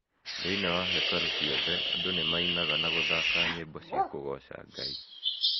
Thĩinĩ wa hekarũ ciothe, andũ nĩmainaga na gũthaka nyĩmbo cia kũgooca Ngai.